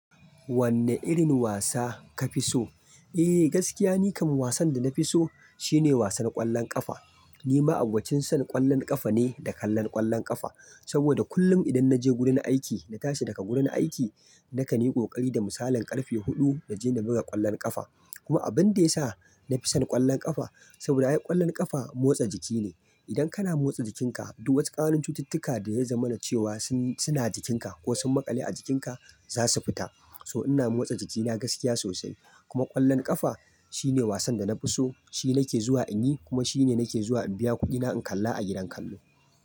Wanne irin wasa ka fi so? Eh gaskiya ni kam wasan da na fi so shine wasan ƙwallon ƙafa. Ni ma abokin son ƙwallon ƙafa ne da kallon ƙwallon ƙafa. Saboda kullum idan naje gurin aiki, na tashi daga gurin aiki, na ka ni ƙoƙari da misalin ƙarfe huɗu naje na buga ƙwallon ƙafa. Kuma abin da ya sa na fi son ƙwallon ƙafa, saboda ai ƙwallon ƙafa motsa jiki ne. Idan kana motsa jikinka, duk wasu ƙananun cututtuka da yazo mana cewa suna jikinka ko sun maƙale a jikinka za su fita. So ina motsa jikina gaskiya sosai. Kuma ƙwallon ƙafa shine wasan da na fi so, shi nake zuwa in yi kuma shi ne nake zuwa in biya kuɗina in kalla a gidan kallo.